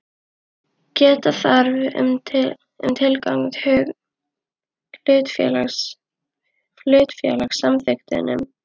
Geta þarf um tilgang hlutafélags í samþykktunum.